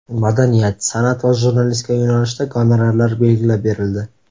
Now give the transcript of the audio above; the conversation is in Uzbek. Madaniyat, san’at va jurnalistika yo‘nalishida gonorarlar belgilab berildi.